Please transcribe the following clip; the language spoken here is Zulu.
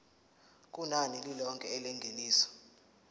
kunani lilonke lengeniso